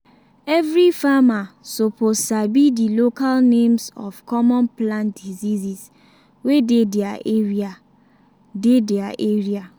every farmer suppose sabi the local names of common plant diseases wey dey their area. dey their area.